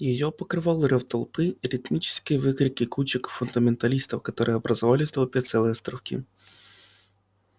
её покрывал рёв толпы и ритмические выкрики кучек фундаменталистов которые образовали в толпе целые островки